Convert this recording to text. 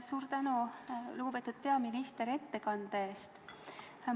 Suur tänu, lugupeetud peaminister, ettekande eest!